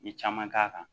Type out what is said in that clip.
N ye caman k'a kan